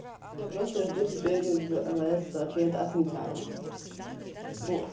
я просто жду теперь в л с ответ от митяя не